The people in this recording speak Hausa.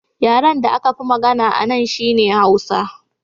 Yaren da aka fi magana a nan shi ne Hausa